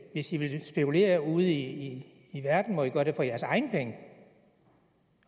hvis i vil spekulere ude i i verden må i gøre det for jeres egne penge